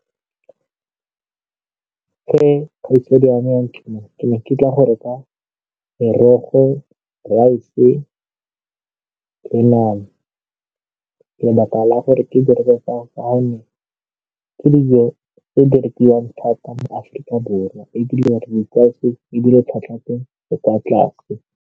Ge ke ne ke tla go reka merogo, rice-e le nama. Lebaka la gore ke di reke ke dijo tse di rekiwang thata mo Afrika Borwa ebile re di tlwaetse ebile tlhwatlhwa 'a teng e kwa tlase.